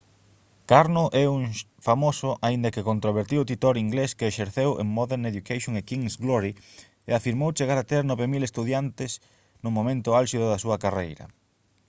karno é un famoso aínda que controvertido titor inglés que exerceu en modern education e king's glory e afirmou chegar a ter 9000 estudantes no momento álxido da súa carreira